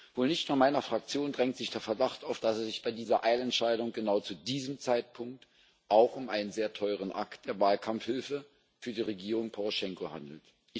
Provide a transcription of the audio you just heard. Wohl nicht nur meiner Fraktion drängt sich der Verdacht auf, dass es sich bei dieser Eilentscheidung genau zu diesem Zeitpunkt auch um einen sehr teuren Akt der Wahlkampfhilfe für die Regierung Poroschenko handelt.